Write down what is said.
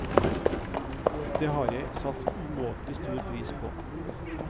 Det har jeg satt umåtelig stor pris på.